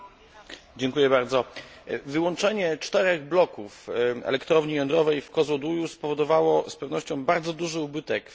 Wyłączenie czterech bloków elektrowni jądrowej w Kozłoduju spowodowało z pewnością bardzo duży ubytek w systemie energetycznym Bułgarii.